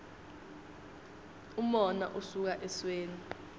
umona usuka esweni